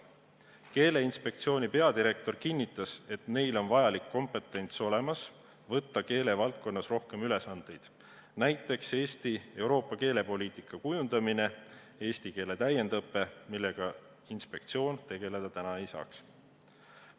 Keeleinspektsiooni peadirektor kinnitas, et neil on olemas vajalik kompetents, et võtta enda peale keelevaldkonnas rohkem ülesandeid, näiteks Eesti ja Euroopa Liidu keelepoliitika kujundamine ning eesti keele täiendõpe, millega inspektsioon tegeleda ei saaks.